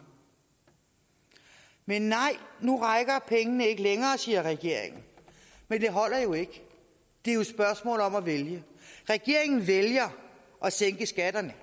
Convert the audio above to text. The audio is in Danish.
men nej nu rækker pengene ikke længere siger regeringen men det holder jo ikke det er jo et spørgsmål om at vælge regeringen vælger at sænke skatterne